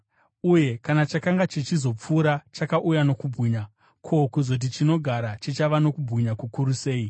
Uye kana chakanga chichizopfuura chakauya nokubwinya, ko, kuzoti chinogara chichava nokubwinya kukuru sei!